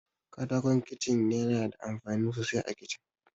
Katakon Kicin yana da amfani sosai a Kicin.